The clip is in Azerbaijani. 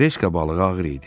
Treska balığı ağır idi.